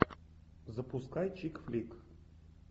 запускай чик флик